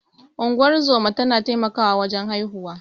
Unguwar zoma tana taimakawa wajen haihuwa.